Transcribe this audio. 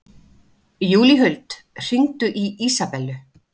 Júlíhuld, hringdu í Ísabellu.